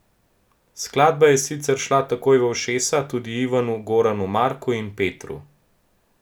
Skladba je sicer šla takoj v ušesa tudi Ivanu, Goranu, Marku in Petru.